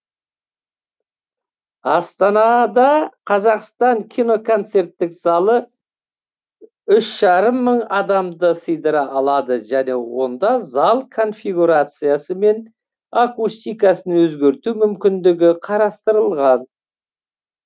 астанада қазақстан киноконцерттік залы үш жарым мың адамды сыйдыра алады және онда зал конфигурациясы мен акустикасын өзгерту мүмкіндігі қарастырылған